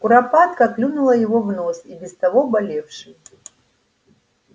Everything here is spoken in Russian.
куропатка клюнула его в нос и без того болевший